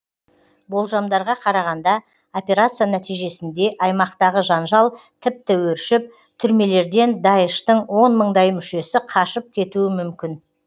болжамдарға қарағанда операция нәтижесінде аймақтағы жанжал тіпті өршіп түрмелерден даиштың он мыңдай мүшесі қашып кетуі мүмкін